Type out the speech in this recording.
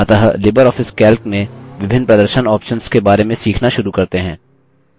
अतः libreoffice calc में विभिन्न प्रदर्शन options के बारे में सीखना शुरू करते हैं